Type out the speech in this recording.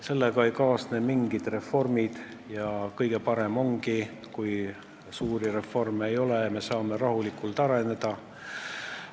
Sellega ei kaasne mingid reformid ning kõige parem ongi, kui suuri reforme ei ole ja me saame rahulikult areneda.